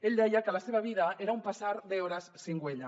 ell deia que la seva vida era un pasar de horas sin huella